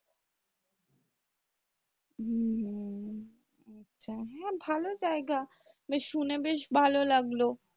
উম আচ্ছা হ্যাঁ ভালো জায়গা বেশ শুনে বেশ ভালো লাগলো।